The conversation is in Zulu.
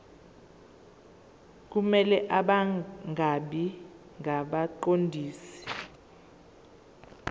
kumele bangabi ngabaqondisi